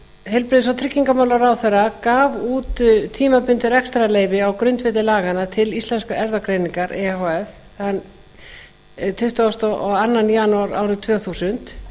heilbrigðis og tryggingamálaráðherra gaf út tímabundið rekstrarleyfi á grundvelli laganna til íslenskrar erfðagreiningar e h f þann tuttugasta og annan janúar árið tvö þúsund